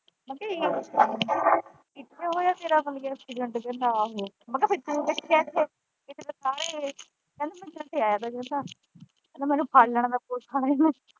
ਉੱਥੇ ਹੋਇਆ ਤੇਰਾ ਐਕਸੀਡੈਂਟ ਕਹਿੰਦਾ ਆਹੋ ਮੈਂ ਕਿਹਾ ਫਿਰ ਤੂੰੰ ਕਹਿੰਦਾ ਮੈਂ ਆਇਆ ਹਾ ਕਹਿੰਦਾ ਨਹੀਂ ਤੇ ਮੈਨੂੰ ਫੜ ਲੈਣਾ ਹੀ ਪੁਲਿਸ ਆਲਿਆਂ ਨੇ।